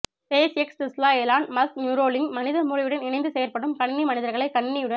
space X Tesla Elon Musk Neuralink மனித மூளையுடன் இணைந்து செயற்படும் கணனி மனிதர்களை கணினியுடன்